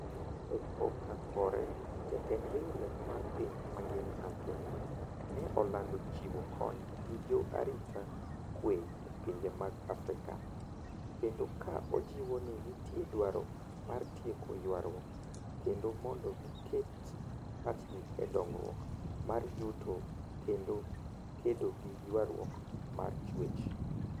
E koka kore, jatend riwruok mar piny mangima Antonio, ne olando chiwo kony ni jo arita kwe e pinje mag Afrika, kendo ka ojiwo ni nitie dwaro mar tieko ywaruok kendo mondo giket pachgi e dongruok mar yuto kendo kedo gi ywaruok mar chwech